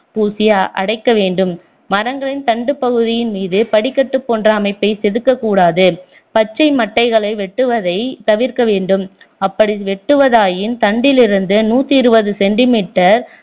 பூசி அடைக்க வேண்டும் மரங்களின் தண்டு பகுதியின் மீது படிகட்டு போன்ற அமைப்பை செதுக்கக் கூடாது பச்சை மட்டைகளை வெட்டுவதை தவிர்க்க வேண்டும் அப்படி வெட்டுவதாயின் தண்டிலிருந்து நூற்று இருபது centimeter